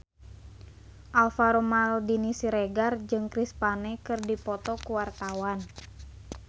Alvaro Maldini Siregar jeung Chris Pane keur dipoto ku wartawan